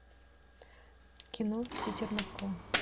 кино питер москва